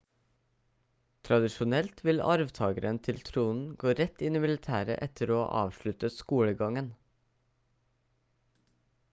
tradisjonelt vil arvtageren til tronen gå rett inn i militæret etter å ha avsluttet skolegangen